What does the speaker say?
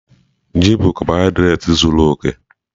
Ji bụ kabọhaịdreeti zuọ oke.